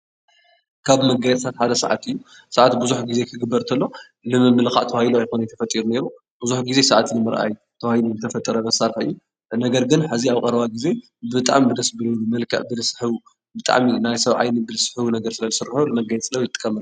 ካብ መጋየፅታት ሓደ ሰዓት እዩ፡፡ ሰዓት ብዙሕ ጊዜ ክግበር ተሎ ንምምልኻዕ ተባሂሉ ኣይኮነይ ተፈጢሩ ነይሩ፡፡ ብዙሕ ጊዜ ሰዓት ንምርኣይ ተባሂሉ ዝተፈጠረ መሳርሒ እዩ፡፡ ነገር ግን ሕዚ ኣብ ቐረባ ጊዜ ብጣዕሚ ደስ ብልብል መልክዕ ብልስሕቡ ብጣዕሚ ናይ ሰብ ዓይኒ ብልስሕቡ ስለልስርሑ መጋየፂ ለ ንጥቀመሎም፡፡